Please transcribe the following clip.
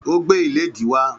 Ó gbé ìlédìí wá